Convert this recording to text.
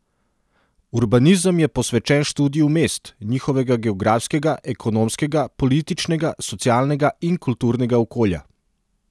Urbanizem je posvečen študiju mest, njihovega geografskega, ekonomskega, političnega, socialnega in kulturnega okolja.